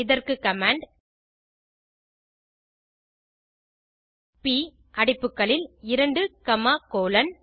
இதற்கு command ப் அடைப்புகளில் 2 காமா கோலோன்